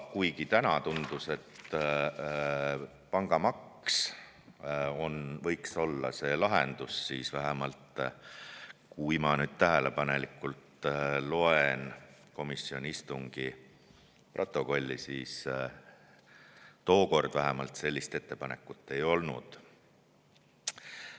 Kuigi täna tundus, et pangamaks võiks olla see lahendus, siis vähemalt tookord – ma nüüd tähelepanelikult loen komisjoni istungi protokolli – sellist ettepanekut ei olnud.